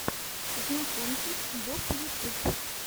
знакомьтесь боб ютюб